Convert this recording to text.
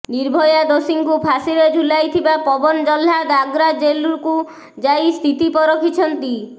ନିର୍ଭୟା ଦୋଷୀଙ୍କୁ ଫାଶିରେ ଝୁଲାଇଥିବା ପବନ ଜହ୍ଲାଦ୍ ଆଗ୍ରା ଜେଲ୍କୁ ଯାଇ ସ୍ଥିତି ପରଖିଛନ୍ତି